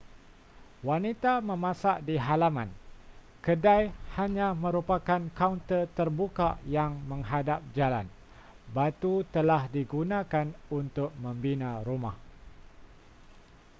wanita memasak di halaman kedai hanya merupakan kaunter terbuka yang menghadap jalan batu telah digunakan untuk membina rumah